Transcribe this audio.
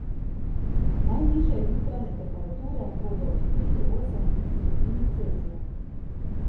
Najnižje jutranje temperature bodo od tri do osem stopinj Celzija.